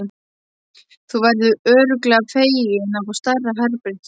Þú verður örugglega feginn að fá stærra herbergi.